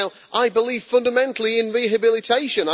I believe fundamentally in rehabilitation.